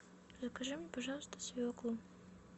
закажи мне пожалуйста свеклу